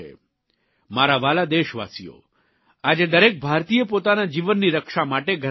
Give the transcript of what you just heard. મારા વ્હાલા દેશવાસીઓ આજે દરેક ભારતીય પોતાના જીવનની રક્ષા માટે ઘરમાં બંધ છે